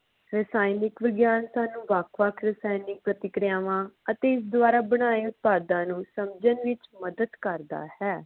ਰਸਾਇਣਿਕ ਵਿਗਿਆਨ ਸਾਨੂ ਵੱਖ ਵੱਖ ਰਸਾਇਣਿਕ ਪ੍ਰਤੀਕਿਰਿਆਵਾਂ ਅਤੇ ਇਸ ਦਵਾਰਾ ਬਨਾਏ ਉਤਪਾਦਾਂ ਨੂੰ ਸਮਝਣ ਵਿਚ ਮਦਦ ਕਰਦਾ ਹੈ।